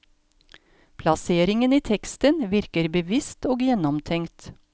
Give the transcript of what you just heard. Plasseringen i teksten virker bevisst og gjennomtenkt.